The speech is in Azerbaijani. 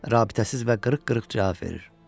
Rabitəsiz və qırıq-qırıq cavab verir.